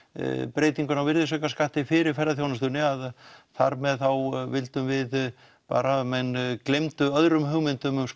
breytinguna á virðisaukaskatti fyrir ferðaþjónustunni að þar með vildum við bara að menn gleymdu öðrum hugmyndum um